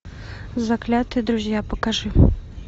заклятые друзья покажи